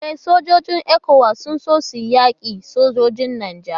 E, sojojin ECOWAS sun so su yaki sojojin Nijar